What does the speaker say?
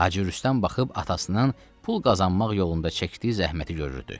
Hacı Rüstəm baxıb atasının pul qazanmaq yolunda çəkdiyi zəhməti görürdü.